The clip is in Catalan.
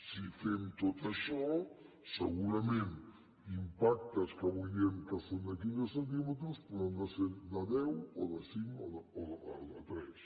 si fem tot això segurament impactes que avui diem que són de quinze centímetres poden ser de deu o de cinc o de tres